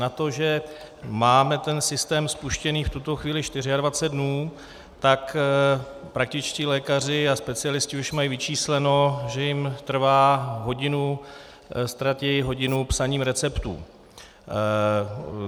Na to, že máme ten systém spuštěný v tuto chvíli 24 dnů, tak praktičtí lékaři a specialisté už mají vyčísleno, že jim trvá hodinu, ztratí hodinu psaním receptů.